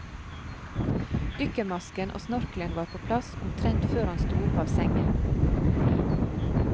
Dykkermasken og snorkelen var på plass omtrent før han sto opp av sengen.